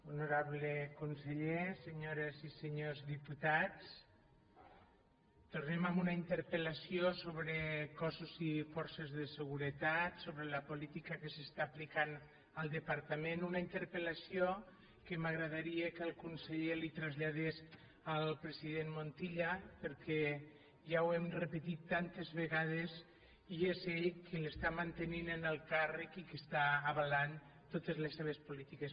honorable conseller senyo·res i senyors diputats tornem amb una interpel·lació sobre cossos i forces de seguretat sobre la política que s’està aplicant al departament una interpel·lació que m’agradaria que el conseller li traslladés al president montilla perquè ja ho hem repetit tantes vegades i és ell qui l’està mantenint en el càrrec i qui està avalant totes les seves polítiques